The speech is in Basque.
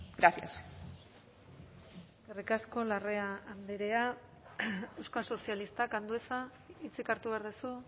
gracias eskerrik asko larrea andrea euskal sozialistak andueza hitzik hartu behar duzu